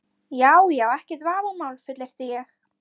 Já já, ekkert vafamál, fullyrti ég.